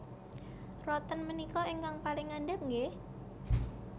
Roten menika ingkang paling ngandhap nggih